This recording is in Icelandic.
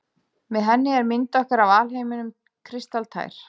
Með henni er mynd okkar af alheiminum kristaltær.